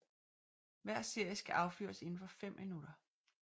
Hver serie skal affyres indenfor fem minutter